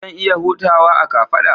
Zan iya hutawa a kafada?